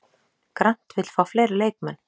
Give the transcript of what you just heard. Grant vill fá fleiri leikmenn